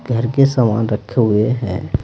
घर के सामान रखे हुए हैं।